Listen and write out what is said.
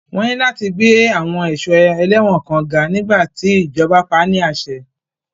Wọ́n ní láti gbé àwọn ẹ̀ṣọ́ ẹlẹ́wọ̀n kan ga nígbà tí ìjọba pa á ní àṣẹ.